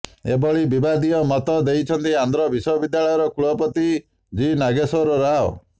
ଏଭଳି ବିବାଦୀୟ ମତ ଦେଇଛନ୍ତି ଆନ୍ଧ୍ର ବିଶ୍ୱବିଦ୍ୟାଳୟର କୁଳପତି ଜି ନାଗେଶ୍ୱର ରାଓ